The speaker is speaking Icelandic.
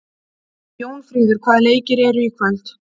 Jónfríður, hvaða leikir eru í kvöld?